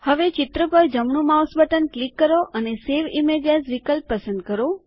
હવે ચિત્ર પર જમણું માઉસ બટન ક્લિક કરો અને સવે ઇમેજ એએસ વિકલ્પ પસંદ કરો